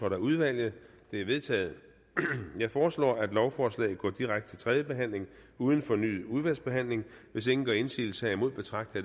af udvalget de er vedtaget jeg foreslår at lovforslaget går direkte til tredje behandling uden fornyet udvalgsbehandling hvis ingen gør indsigelse herimod betragter